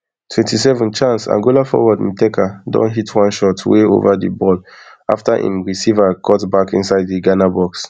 twenty-seven chance angola forward nteka don hit one shot way ova di ball afta im receive cutback inside di ghana box